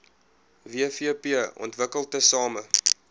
wvp ontwikkel tesame